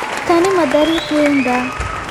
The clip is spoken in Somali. Tani ma dariiqa weyn baa?